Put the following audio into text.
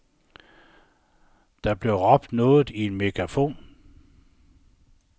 Der bliver råbt noget i en megafon.